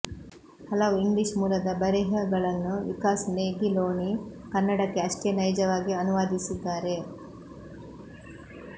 ಹಲವು ಇಂಗ್ಲೀಷ್ ಮೂಲದ ಬರೆಹಗಳನ್ನು ವಿಕಾಸ್ ನೆಗಿಲೋಣಿ ಕನ್ನಡಕ್ಕೆ ಅಷ್ಟೇ ನೈಜವಾಗಿ ಅನುವಾದಿಸಿದ್ದಾರೆ